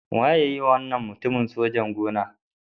Wa ya yiwa wannan mutumin sojan-gona?